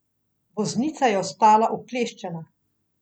Voznica je ostala ukleščena.